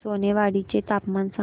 सोनेवाडी चे तापमान सांग